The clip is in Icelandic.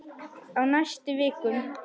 Á næstu vikum.